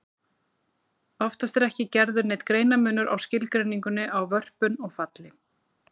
Oftast er ekki gerður neinn greinarmunur á skilgreiningunni á vörpun og falli.